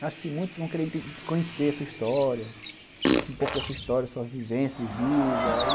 Acho que muitos vão querer conhecer a sua história, um pouco da sua história, sua vivência de vida.